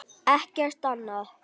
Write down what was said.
Ekkert annað.